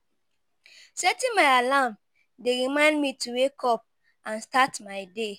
Setting my alarm dey remind me to wake up and start my day.